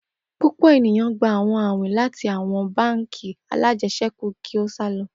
Pupọ eniyan, gba awọn awin lati awọn bánk alájẹsẹ́kù ki o sa lọ.